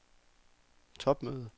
topmøde